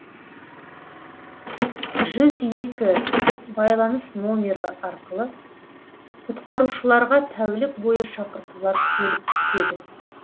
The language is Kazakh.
жүз екі байланыс номері арқылы құтқарушыларға тәулік бойы шақыртулар келіп түседі